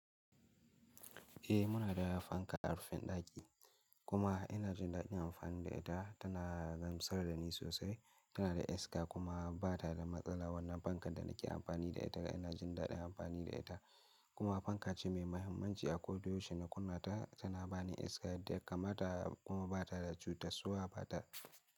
Eh muna da fanka a rufin ɗaki kuma ina jin daɗin amfani da ita. Tana gamsar da ni sosai, tana da iska kuma ba ta da matsala. Wannan fankan da nake amfani da ita ina jin daɗin amfani da ita kuma fanka ce mai mahimmanci a koda yaushe. Idan nakunnata tana bani iska da kamata kuma ba ta da cuta. Suwa ba ta.